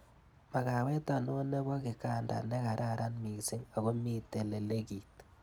Makawet ano nepo kiganda ne kararan missing akomitei lelegit.